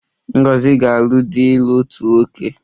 Ngozi ga-alụ di ịlụ otu nwaanyị